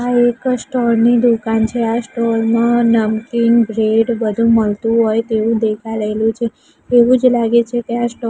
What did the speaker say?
આ એક સ્ટોર ની દુકાન છે આ સ્ટોર માં નમકીન બ્રેડ બધું મલતું હોય તેવું દેખાઈ રહેલું છે એવું જ લાગે છે કે આ સ્ટોર --